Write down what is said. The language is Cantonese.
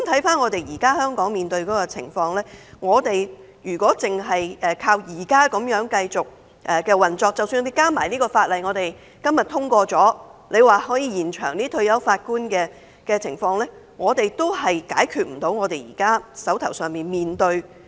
反觀現時香港面對的情況，如果單靠現有機制繼續運作，即使加上今天可能獲通過的《條例草案》而延展法官的退休年齡，我們仍然未能處理現時手上的個案。